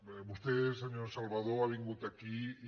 bé vostè senyor salvadó ha vingut aquí i